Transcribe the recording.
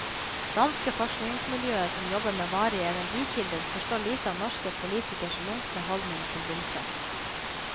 Danske forskningsmiljøer som jobber med varige energikilder forstår lite av norske politikeres lunkne holdning til vindkraft.